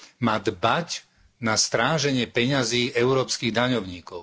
má dbať na stráženie peňazí európskych daňovníkov.